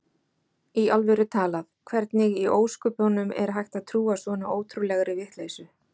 Í alvöru talað: Hvernig í ósköpunum er hægt að trúa svona ótrúlegri vitleysu?